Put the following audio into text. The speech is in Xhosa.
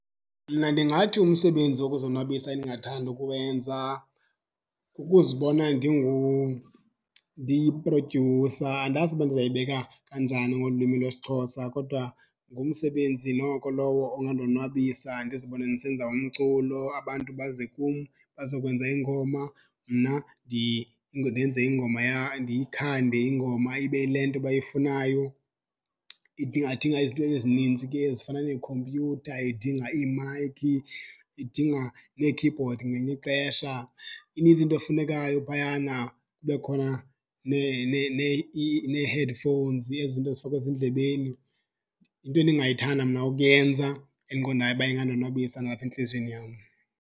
Mna ndingathi umsebenzi wokuzonwabisa endingathanda ukuwenza kukuzibona ndiyi-producer, andazi uba ndizayibeka kanjani ngolwimi lwesiXhosa. Kodwa ngumsebenzi noko lowo ongandonwabisa ndizibone ndisenza umculo, abantu baze kum bazokwenza iingoma. Mna ndenze ingoma ndiyithande ingoma ibe yile nto bayifunayo. Idinga ingadinga izinto ezinintsi ke ezifana neekhompyutha, idinga iimayikhi, idinga nee-keyboard ngelinye ixesha, inintsi into efunekayo phayana. Kube khona nee-headphones, ezi zinto zifakwa ezindlebeni. Yinto endingayithanda mna ukuyenza endiqondayo uba ingandonwabisa nalapha entliziyweni yam.